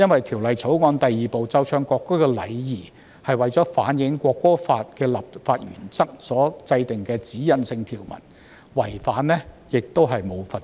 《條例草案》第2部奏唱國歌的禮儀是為了反映《國歌法》的立法原則而制定的指引性條文，違反條文並沒有罰則。